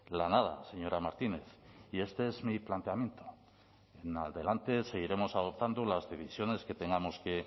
la nada señora martínez y este es mi planteamiento en adelante seguiremos adoptando las decisiones que tengamos que